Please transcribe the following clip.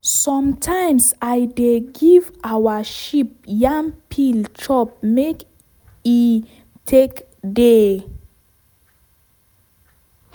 sometimes i give our sheep yam peel chop make e make e take dey.